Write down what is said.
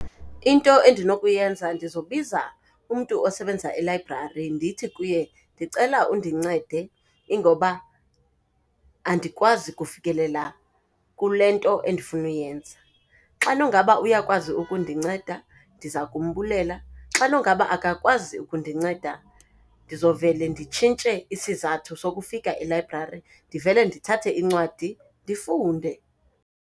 Into endinokuyenza ndizobiza umntu osebenza elayibrari ndithi kuye, ndicela undincede ingoba andikwazi kufikelela kule nto endifuna uyenza. Xa nongaba uyakwazi ukundinceda ndiza kumbulela, xa nongaba akakwazi ukundinceda ndizovele nditshintshe isizathu sokufika elayibrari, ndivele ndithathe incwadi ndifunde.